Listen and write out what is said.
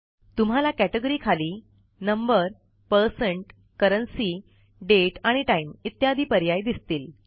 तुम्हाला कॅटेगरी खाली number percent currency date आणि टाइम इत्यादी पर्याय दिसतील